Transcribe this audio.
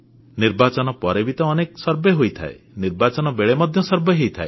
ନିର୍ବାଚନ ପରେ ବି ତ ଅନେକ ସର୍ଭେ ହୋଇଥାଏ ନିର୍ବାଚନ ବେଳେ ମଧ୍ୟ ସର୍ଭେ ହୋଇଥାଏ